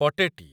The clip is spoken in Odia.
ପଟେଟି